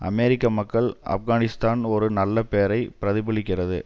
அமெரிக்க மக்கள் ஆப்கானிஸ்தான் ஒரு நல்ல பேரை பிரதிபலிக்கிறது